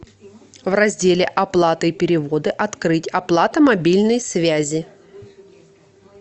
в разделе оплата и переводы открыть оплата мобильной связи